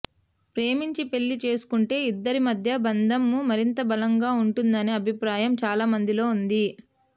ప్రేమించి పెళ్లి చేసుకుంటే ఇద్దరి మధ్య బంధం మరింత బలంగా ఉంటుందనే అభిప్రాయం చాలామందిలో ఉంది